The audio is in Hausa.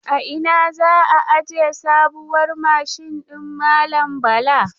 A ina za a aje sabuwar mashin din malam Bala?